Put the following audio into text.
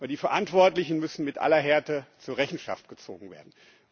Die Verantwortlichen müssen mit aller Härte zur Rechenschaft gezogen werden.